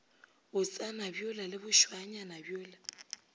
botsana bjola le bošwaanyana bjola